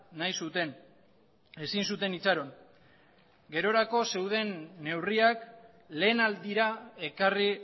nahi zuten ezin zuten itxaron gerorako zeuden neurriak lehenaldira ekarri